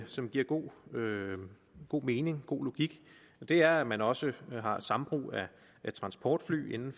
som giver god god mening god logik og det er at man også har sambrug af transportfly inden